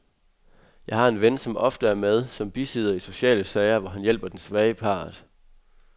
Jeg har en ven, som ofte er med som bisidder i sociale sager, hvor han hjælper den svage part.